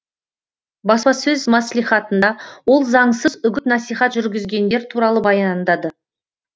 баспасөз маслихатында ол заңсыз үгіт насихат жүргізгендер туралы баяндады